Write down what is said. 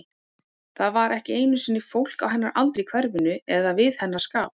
Það var ekki einu sinni fólk á hennar aldri í hverfinu, eða við hennar skap.